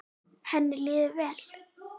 Henni líður vel?